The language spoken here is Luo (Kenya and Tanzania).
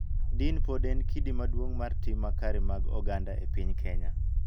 Din pod en kidi maduong� mar tim makare mag oganda e piny Kenya.